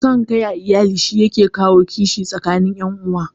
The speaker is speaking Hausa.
San kai a iyali shi yake kawo kishin tsakanin ƴan uwa